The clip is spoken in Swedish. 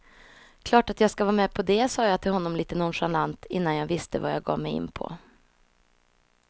Klart att jag ska vara med på det sa jag till honom lite nonchalant, innan jag visste vad jag gav mig in på.